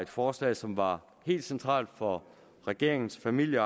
forslag som var helt centralt for regeringens familie